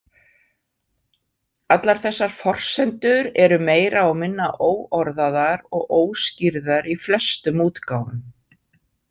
Allar þessar forsendur eru meira og minna óorðaðar og óskýrðar í flestum útgáfum.